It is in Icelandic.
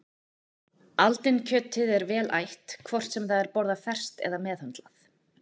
Aldinkjötið er vel ætt hvort sem það er borðað ferskt eða meðhöndlað.